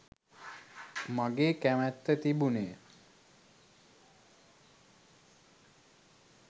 මගේ කැමැත්ත තිබුණෙ.